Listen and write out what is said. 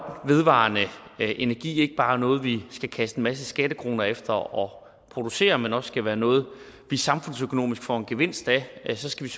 vedvarende energi ikke bare er noget vi skal kaste en masse skattekroner efter og producere men også skal være noget vi samfundsøkonomisk får en gevinst af så skal